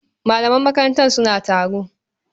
Malaman makaranta suna taro.